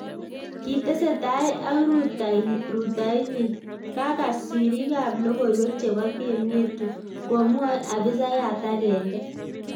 Kitesetai ak rutoitanyin,"Kagas siriikab logoiywek chebo Game Yetu komwae afisayat agenge